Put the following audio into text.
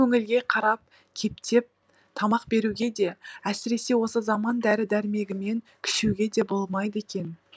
көңілге қарап кептеп тамақ беруге де әсіресе осы заман дәрі дәрмегімен күшеуге де болмайды екен